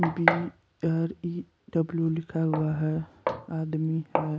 अभी B R E W लिखा हुआ है आदमी है।